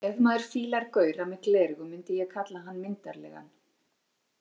Ef maður fílar gaura með gleraugu myndi ég kalla hann myndarlegan.